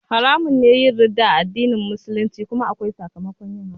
Haramun ne yin ridda a addinin Musulunci kuma akwai sakamakon yin hakan